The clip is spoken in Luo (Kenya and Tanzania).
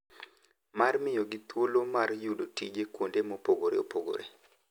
Mar miyogi thuolo mar yudo tije kuonde mopogore opogore.